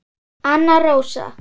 Anna Rósa.